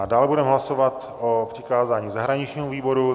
A dále budeme hlasovat o přikázání zahraničnímu výboru.